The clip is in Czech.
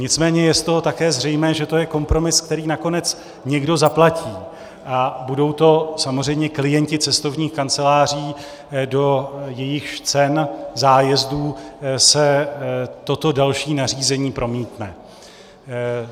Nicméně je z toho také zřejmé, že to je kompromis, který nakonec někdo zaplatí, a budou to samozřejmě klienti cestovních kanceláří, do jejichž cen zájezdů se toto další nařízení promítne.